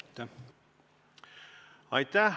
Aitäh!